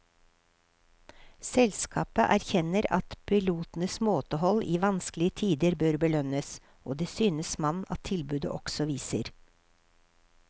Selskapet erkjenner at pilotenes måtehold i vanskelige tider bør belønnes, og det synes man at tilbudet også viser.